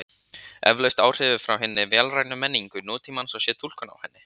Eflaust áhrif frá hinni vélrænu menningu nútímans og sé túlkun á henni.